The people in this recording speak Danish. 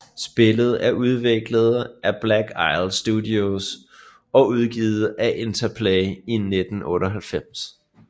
Spillet er udviklet af Black Isle Studios og udgivet af Interplay i 1998